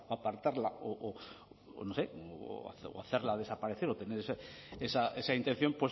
apartarla o no sé hacerla desaparecer o tener esa intención